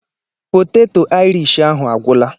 Poteto Aịrish ahụ a gwụla.